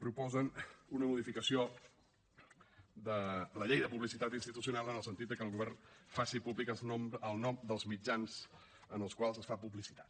proposen una modificació de la llei de publicitat institucional en el sentit de que el govern faci públic el nom dels mitjans en els quals es fa publicitat